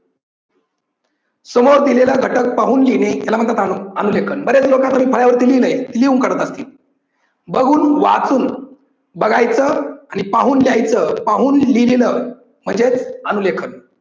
समोर दिलेला घटक पाहून लिहिणे याला म्हणतात अनु लेखन. बरेच लोकांनी केली नाही, लिहून करतात ते. बघून वाचून बघायच आणि पाहून लिहायचं पाहून लिहीन म्हणजेच अनु लेखन.